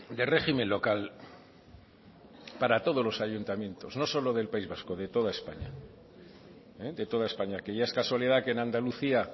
de régimen local para todos los ayuntamientos no solo del país vasco de toda españa de toda españa que ya es casualidad que en andalucía